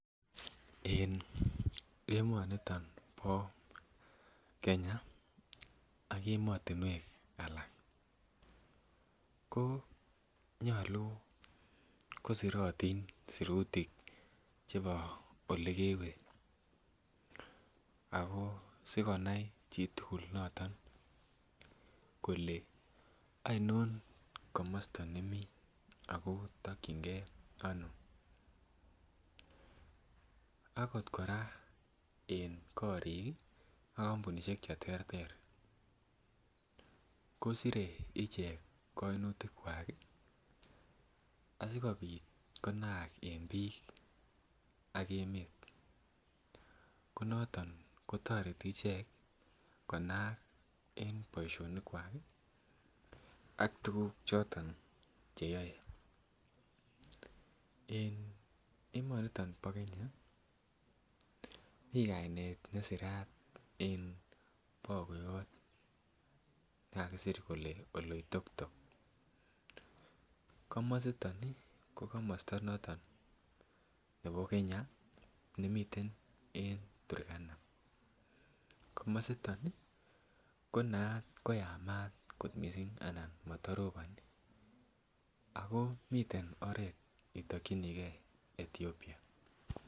En emoniton bo Kenya ak emotinwek alak ko nyolu kosirotin sirutik chebo olekewe ako sikonai chitugul noton kole oinon komosta nemii ako tokyin gee ano akot kora en korik ih ak kampunisiek cheterter kosire ichek koinutik kwak ih asikobit konaak en biik ak emet ko noton kotoreti ichek konaak en boisionik kwak ak tuguk choton cheyoe en emoniton bo Kenya mii kainet nesirat en bagoyot nekakisir kele Oloitoktok komositon ih ko komosta noton nebo Kenya nemiten en Turkana, komositon ih ko naat koyamat kot missing anan matoroboni ako miten oret itokyinigee Ethiopia